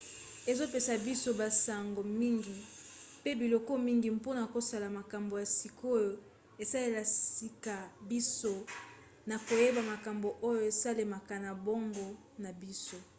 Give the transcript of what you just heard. ezopesa biso basango mingi pe biloko mingi mpona kosala makambo ya sika oyo esalisaka biso na koyeba makambo oyo esalemaka na boongo na biso